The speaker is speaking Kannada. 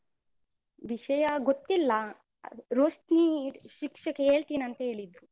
ವಿಷಯ ಗೊತ್ತಿಲ್ಲ. ಅದು ರೋಶ್ನಿ ಶಿಕ್ಷಕಿ ಹೇಳ್ತೀನಿ ಅಂತ ಹೇಳಿದ್ರು.